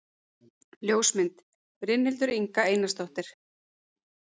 Ljósmynd: Brynhildur Inga Einarsdóttir